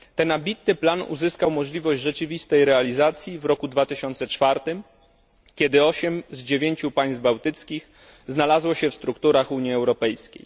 Ten ambitny plan uzyskał możliwość rzeczywistej realizacji w roku 2004, kiedy osiem z dziewięciu państw bałtyckich znalazło się w strukturach Unii Europejskiej.